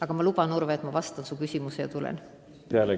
Aga ma luban, Urve, et ma vastan su küsimusele hiljem.